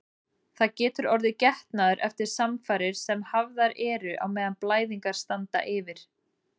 Það getur orðið getnaður eftir samfarir sem hafðar eru á meðan blæðingar standa yfir.